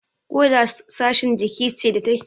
Ƙoda Sashin jiki ce da take tace fitsari